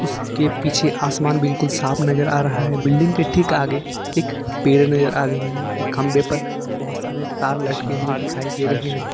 उसके पीछे आसमान बिल्कुल साफ नजर आ रहा है बिल्डिंग के ठीक आगे एक पेड़ नजर आ रही है खंभे पर बहुत सारे तार लटके हुए दिखाई दे रहे हैं।